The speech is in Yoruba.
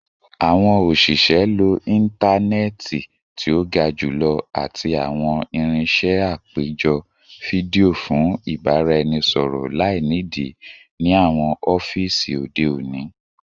Awọn oṣiṣẹ lo intanẹẹti ti o ga julọ ati awọn irinṣẹ apejọ fidio fun ibaraẹnisọrọ lainidi ni awọn ọfiisi ode oni